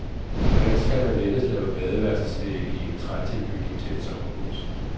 Hvordan kan man lettest lave badeværelsesvægge i en trætilbygning til et sommerhus.